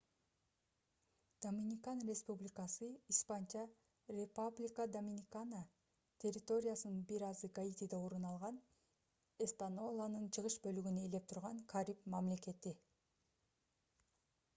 доминикан республикасы испанча: república dominicana — территориясынын бир азы гаитиде орун алган эспаньоланын чыгыш бөлүгүн ээлеп турган кариб мамлекети